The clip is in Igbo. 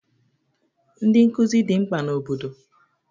Ndị nkụzi dị mkpa n'obodo